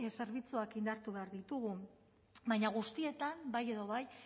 zerbitzuak indartu behar ditugu baina guztietan bai edo bai